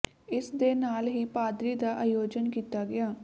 ਇਸ ਦੇ ਨਾਲ ਹੀ ਪਾਦਰੀ ਦਾ ਆਯੋਜਨ ਕੀਤਾ ਗਿਆ